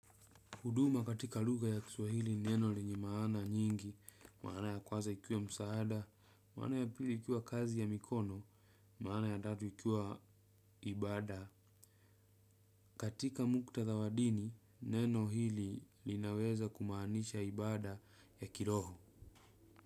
Huduma katika lugha ya kiswahili neno lenye maana nyingi, maana ya kwanza ikiwa msaada, maana ya pili ikiwa kazi ya mikono, maana ya tatu ikiwa ibada. Katika muktadha wa dini, neno hili linaweza kumaanisha ibada ya kiroho.